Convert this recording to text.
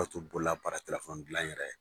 O tu bolola baarakɛla fɔ n dilan n yɛrɛ ye.